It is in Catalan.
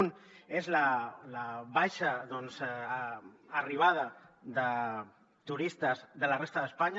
un és la baixa doncs arribada de turistes de la resta d’espanya